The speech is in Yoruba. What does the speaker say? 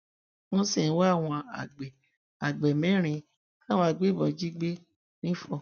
wọn sì ń wá àwọn àgbẹ àgbẹ mẹrin táwọn agbébọn jí gbé nifon